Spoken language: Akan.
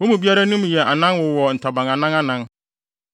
wɔn mu biara anim yɛ anan na wɔwowɔ ntaban anan anan.